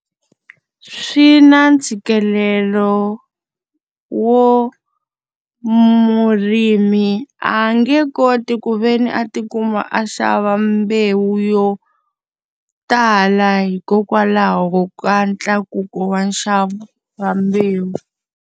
Swi na ntshikelelo wo murimi a nge koti ku ve ni a ti kuma a xava mbewu yo tala hikokwalaho ka ntlakuko wa nxavo wa mbewu.